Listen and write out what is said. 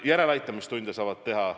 Järeleaitamistunde saab teha.